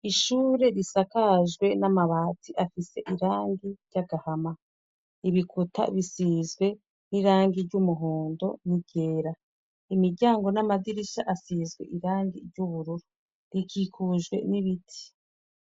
Ishure risakajwe n'amabati afise irangi ry'agahama ibikuta bisizwe n'irangi ry'umuhondo n'igera imiryango n'amadirisha asizwe irangi ry'ubururu rikikujwe n'ibiti.